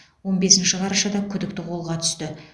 он бесінші қарашада күдікті қолға түсті